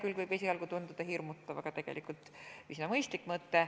See võib esialgu tunduda hirmutav, aga on tegelikult üsna mõistlik mõte.